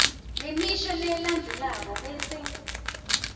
lemisho lelandzelako bese